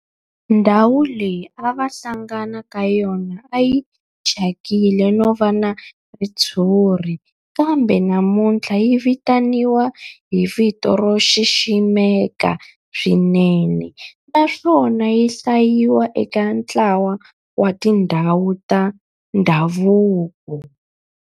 Ndhawu leyi a va hlangana ka yona a yi thyakile no va na ritshuri kambe namuntlha yi vitaniwa hi vito ro xiximeka swinene naswona yi hlayiwa eka ntlawa wa tindhawu ta ndhavuko.